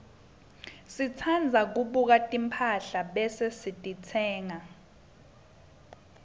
sitsandza kubuka timphahla bese sititsenga